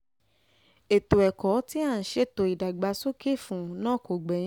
ètò ẹ̀kọ́ tí à ń ṣètò ìdàgbàsókè fún náà kò gbẹ́yìn